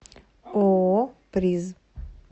ооо приз